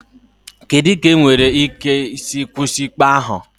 Kedu ka enwere ike isi kwụsị ikpe ahụ?